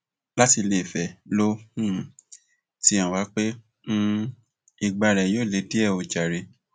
láti iléfẹ ló um ti hàn wá pé um ìgbà rẹ yóò le díẹ o jàre